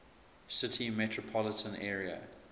city metropolitan area